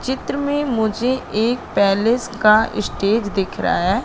चित्र में मुझे एक पैलेस का स्टेज दिख रहा है।